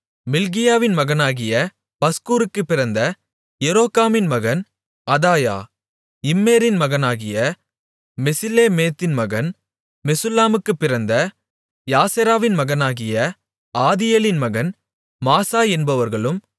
மல்கியாவின் மகனாகிய பஸ்கூருக்குப் பிறந்த எரோகாமின் மகன் அதாயா இம்மேரின் மகனாகிய மெசில்லேமித்தின் மகன் மெசுல்லாமுக்குப் பிறந்த யாசெராவின் மகனாகிய ஆதியேலின் மகன் மாசாய் என்பவர்களும்